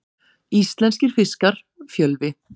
Íslenskir fiskar, Fjölvi.